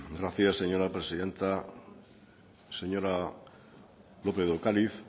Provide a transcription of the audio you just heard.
gracias señora presidenta señora lópez de ocariz